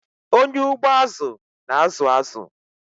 Onye ugbo azu na-azụ azụ.